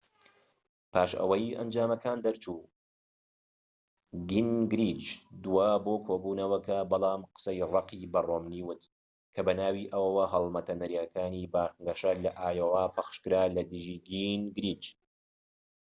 پاش ئەوەی ئەنجامەکان دەرچوو گینگریچ دووا بۆ کۆبونەوەکە بەڵام قسەی ڕەقی بە ڕۆمنی وت کە بەناوی ئەوەوە هەڵمەتە نەرێنیەکانی بانگەشە لە ئایۆوا پەخشکرا لەدژی گینگریچ